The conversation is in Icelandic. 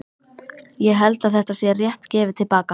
Ég held að þetta sé rétt gefið til baka.